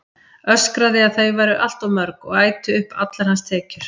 Öskraði að þau væru allt of mörg og ætu upp allar hans tekjur.